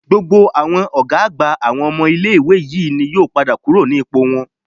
Gbogbo àwọn ọ̀gá àgbà àwọn ilé-ìwé yìí ni wọn yóò padà kúrò nípò wọn